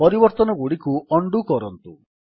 ପରିବର୍ତ୍ତନଗୁଡ଼ିକୁ undo କରନ୍ତୁ